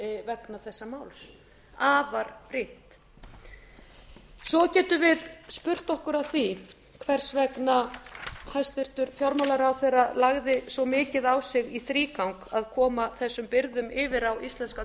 vegna þessa máls afar brýnt svo getum við spurt okkur að því hvers vegna hæstvirtur fjármálaráðherra lagði svo mikið á sig í þrígang að koma þessum byrðum yfir á íslenska